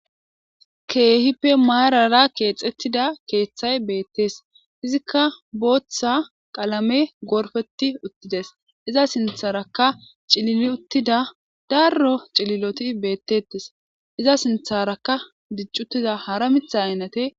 Keehippe maarara keexettida keeththay beettees izikka booththa qalame gorfeti uttides iza sintharaka cilili uttida darro cililoti beettettes iza sintharaka diccuttiza hara mitha aynate.